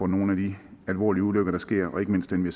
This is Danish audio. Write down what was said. nogle af de alvorlige ulykker der sker og ikke mindst dem vi